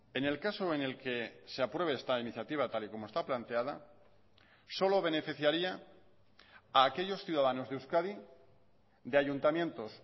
en el caso en el que se apruebe esta iniciativa tal y como está planteada solo beneficiaría a aquellos ciudadanos de euskadi de ayuntamientos